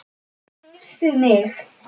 Heyrðu mig.